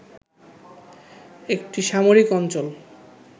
একটি সামরিক অঞ্চল